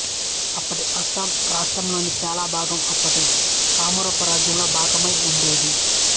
ఇప్పటి అస్సాం రాష్ట్రం లోని చాలా భాగం అప్పటి కామరూప రాజ్యంలో భాగమై ఉండేది